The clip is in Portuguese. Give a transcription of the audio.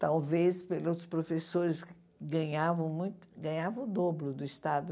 Talvez, pelos professores, ganhavam muito ganhavam o dobro do Estado.